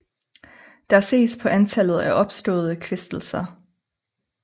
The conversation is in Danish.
Der ses på antallet af opståede kvæstelser